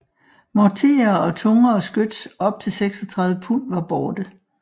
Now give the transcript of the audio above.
Morterer og tungere skyts op til 36 pund var borte